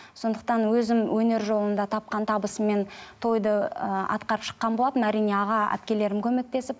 сондықтан өзім өнер жолында тапқан табысыммен тойды ыыы атқарып шыққан болатынмын әрине аға әпкелерім көмектесіп